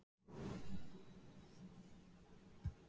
afhverju get ég ekki gert þetta